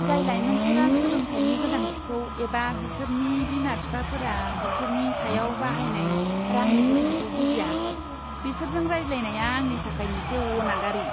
जाय लायमोनफोरा सोलोंथायनि गोनांथिखौ एबा बिसोरनि बिमा बिफाफोरा बिसोरनि सायाव बाहायनाय रांनि बेसेनखौ बुजिया, बिसोरजों रायज्लायनाया आंनि थाखाय मोनसे अनागारि!